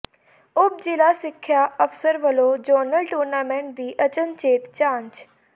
ਉਪ ਜ਼ਿਲ੍ਹਾ ਸਿੱਖਿਆ ਅਫ਼ਸਰ ਵੱਲੋਂ ਜ਼ੋਨਲ ਟੂਰਨਾਮੈਂਟ ਦੀ ਅਚਨਚੇਤ ਜਾਂਚ